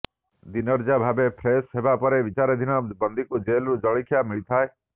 ଦିନର୍ଯ୍ୟା ଭାବେ ଫ୍ରେସ ହେବା ପରେ ବିଚାରାଧୀନ ବନ୍ଦୀଙ୍କୁ ଜେଲରୁ ଜଳଖିଆ ମିଳିଥାଏ